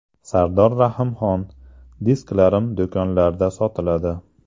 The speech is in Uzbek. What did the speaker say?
Sardor Rahimxon: Disklarim do‘konlarda sotiladi.